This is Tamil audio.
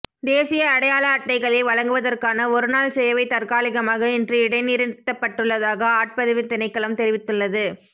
தேசிய அடையாள அட்டைகளை வழங்குவதற்கான ஒருநாள் சேவை தற்காலிகமாக இன்று இடைநிறுத்தப்பட்டுள்ளதாக ஆட்பதிவு திணைக்களம் தெரிவித்துள்ளது